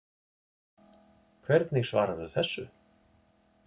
Hvernig svararðu þessu